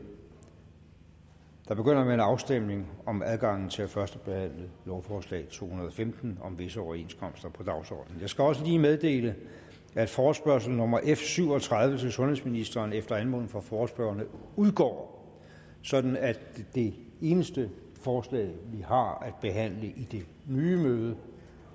der begynder med en afstemning om adgangen til at førstebehandle lovforslag to hundrede og femten om visse overenskomster på dagsordenen jeg skal også lige meddele at forespørgsel nummer f syv og tredive til sundhedsministeren efter anmodning fra forespørgerne udgår sådan at det eneste forslag vi har behandlet i det nye møde